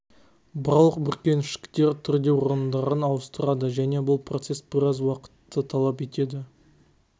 барлық бүркеншіктер түрде орындарын ауыстырады және бұл процесс біраз уақытты талап етеді